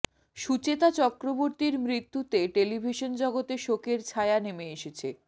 সুচেতা চক্রবর্তীর মৃত্যুতে টেলিভিশন জগতে শোকের ছায়া নেমে এসেছে